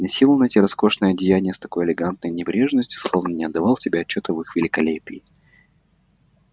и носил он эти роскошные одеяния с такой элегантной небрежностью словно не отдавал себе отчёта в их великолепии